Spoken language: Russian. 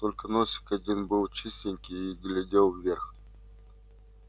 только носик один был чистенький и глядел вверх